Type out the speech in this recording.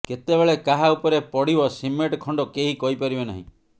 କେତେବେଳେ କାହା ଉପରେ ପଡ଼ିବ ସିମେଣ୍ଟ ଖଣ୍ଡ କେହି କହିପାରିବେ ନାହିଁ